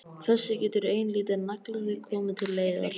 Þessu getur ein lítil naglaþjöl komið til leiðar.